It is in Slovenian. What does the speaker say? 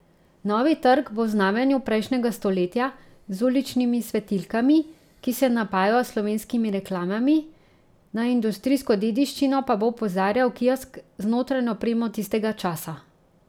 Novi trg bo v znamenju prejšnjega stoletja z uličnimi svetilkami, ki se napajajo s slovenskimi reklamami, na industrijsko dediščino pa bo opozarjal kiosk z notranjo opremo tistega časa.